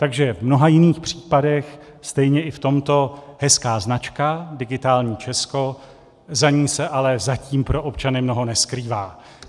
Takže v mnoha jiných případech, stejně i v tomto - hezká značka, Digitální Česko, za ní se ale zatím pro občany mnoho neskrývá.